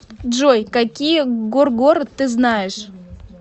джой какие горгород ты знаешь